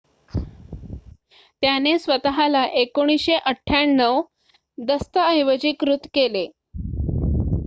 त्याने स्वत:ला 1998 दस्तऐवजीकृत केले